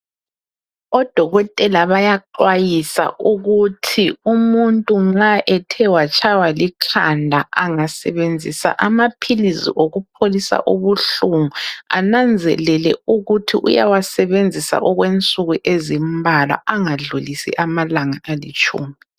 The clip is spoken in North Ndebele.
Odokotela bayaxwayisa ukuthi umuntu nxa ethe watshaywa likhanda angasebenzisa amaphilisi okupholisa ubuhlungu ananzelele ukuthi uyawasebenzisa okwensuku ezimbalwa angadlulisi amalanga alitshumi.